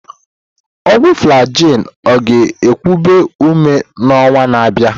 Ọgwụ Flagyl ọ ga-ekubi ume n'ọnwa na-abịa?